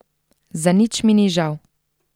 Za nič mi ni žal.